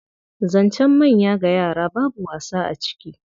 Zancen manya ga yara babu wasa a ciki.